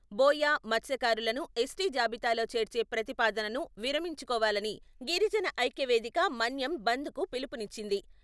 బోయ, మత్స్యకారులను ఎస్టీ జాబితాలో చేర్చే ప్రతిపాదనను విరమించుకోవాలని గిరిజన ఐక్య వేదిక మన్యం బంద్ కు పిలుపునిచ్చింది.